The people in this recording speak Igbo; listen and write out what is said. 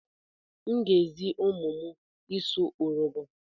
M ga-ezi ụmụ m ịsụ Urobo.